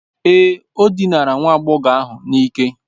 Èé, o dinara nwa agbọghọ ahụ n'ike.